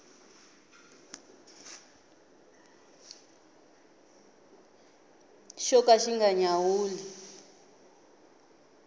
xo ka xi nga nyawuli